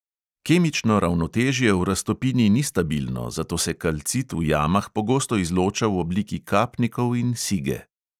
Kemično ravnotežje v raztopini ni stabilno, zato se kalcit v jamah pogosto izloča v obliki kapnikov in sige.